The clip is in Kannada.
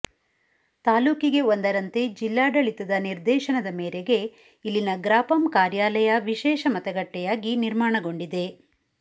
ತಾಲೂಕಿಗೆ ಒಂದರಂತೆ ಜಿಲ್ಲಾಡಳಿತದ ನಿರ್ದೇಶನದ ಮೇರೆಗೆ ಇಲ್ಲಿನ ಗ್ರಾಪಂ ಕಾರ್ಯಾಲಯ ವಿಶೇಷ ಮತಗಟ್ಟೆಯಾಗಿ ನಿರ್ಮಾಣಗೊಂಡಿದೆ